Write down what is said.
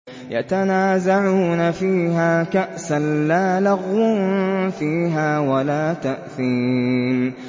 يَتَنَازَعُونَ فِيهَا كَأْسًا لَّا لَغْوٌ فِيهَا وَلَا تَأْثِيمٌ